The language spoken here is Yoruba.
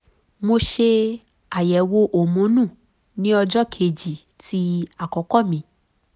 mo ṣe àyẹ̀wò homonu ní ọjọ́ kejì ti akoko mi